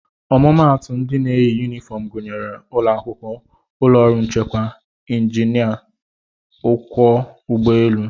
Ọmụmaatụ ndị na-eyi yunifọm gụnyere ụlọakwụkwọ, ụlọọrụ nchekwa, njinịa, ọkwọ ụgbọelu